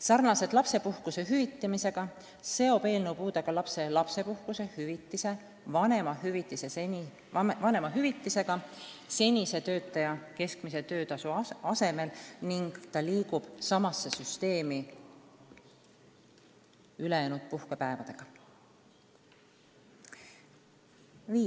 Sarnaselt lapsepuhkuse hüvitamisega seob eelnõu puudega lapse lapsepuhkuse hüvitise vanemahüvitisega senise töötaja keskmise töötasu asemel ning see regulatsioon liigub samasse süsteemi ülejäänud puhkepäevade kohta käiva regulatsiooniga.